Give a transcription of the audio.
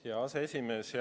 Hea aseesimees!